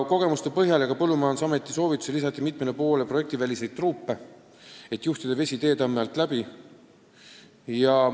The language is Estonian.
Kogemustele tuginedes ja ka Põllumajandusameti soovitusel ehitati mitmele poole projektiväliseid truupe, et juhtida vesi teetammi alt läbi.